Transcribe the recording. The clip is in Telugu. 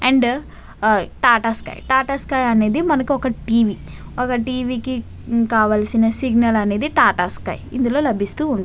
అండ్ ఈ టాటా స్కై . టాటా స్కై అనేది ఒక టీవీ . ఒక టీవీ కి కావాల్సిన సిగ్నల్ అనేది టాటా స్కై . ఇంకా టీవీ కి కావాల్సిన సిగ్నల్ అనేది టాటా స్కై . ఇందులో లభిస్తూ ఉంటుంది.